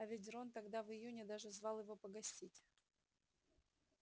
а ведь рон тогда в июне даже звал его погостить